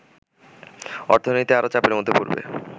অর্থনীতি আরো চাপের মধ্যে পড়বে